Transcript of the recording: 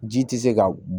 Ji tɛ se ka